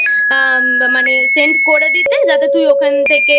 Send করে দিতে যাতে তুই ওখান থেকে